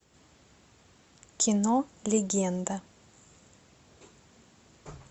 кино легенда